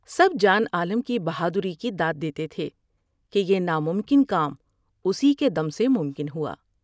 سب جان عالم کی بہادری کی داد دیتے تھے کہ یہ ناممکن کام اس کے دم سے ممکن ہوا ۔